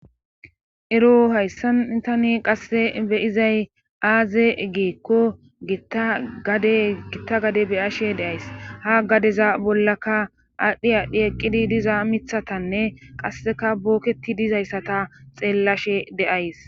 ero hayssan tani qasse beyizay aaze gikko itagade gitta gade beyashe deays ha gadeza bollaka aadhdhi aadhdhi eqqidi diza mithatanne qasseka booketi dizayssata xeellashe deays